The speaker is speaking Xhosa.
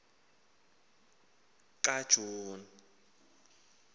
kajuni